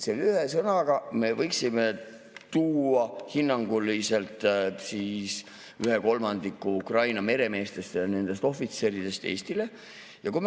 Selle ühe sõnaga me võiksime siis tuua hinnanguliselt ühe kolmandiku Ukraina meremeestest ja nendest ohvitseridest Eestile.